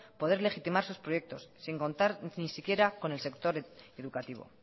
poder legitimar sus proyectos sin contar ni siquiera con el sector educativo